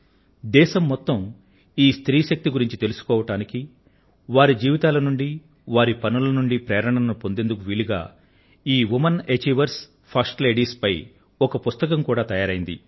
దేశం మొత్తం ఈ స్త్రీ శక్తిని గురించి తెలుసుకోవడానికి వారి జీవితాల నుండి వారి పనుల నుండి ప్రేరణను పొందేందుకు వీలుగా ఈ వుమెన్ అచీవర్స్ ఫర్స్ట్ లేడీస్ పై ఒక పుస్తకం కూడా తయారైంది